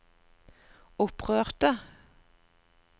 opprørte